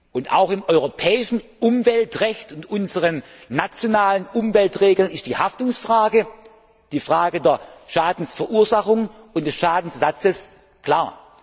Und auch im europäischen Umweltrecht und unseren nationalen Umweltregeln ist die Haftungsfrage, die Frage der Schadensverursachung und des Schadenersatzes